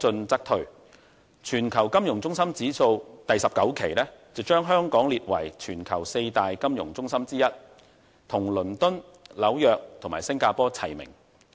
第19期《全球金融中心指數》把香港列為全球四大金融中心之一，與倫敦、紐約和新加坡齊名。